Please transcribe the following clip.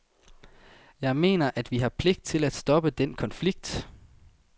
Jeg mener, at vi har pligt til at stoppe den konflikt.